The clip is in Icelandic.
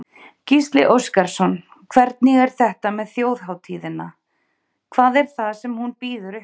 Gísli Óskarsson: Hvernig er þetta með þjóðhátíðina, hvað er það sem hún býður upp á?